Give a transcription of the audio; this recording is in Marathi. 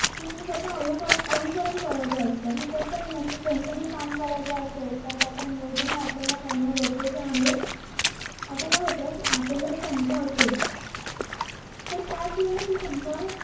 कि मी तस अनुकर अनुसरण करायचं असत कि कस आहेना कोणतंही काम करायचं असेल तर त्याच नियोजन हे आपल्याला करणं गरजेच आहे. आता काय होत कि आपल्याला शंका असेल तर त्याचवेळी ती शंका